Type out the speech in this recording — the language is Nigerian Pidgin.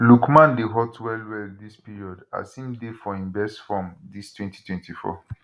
lookman dey hot wellwell dis period as im dey for im best form dis 2024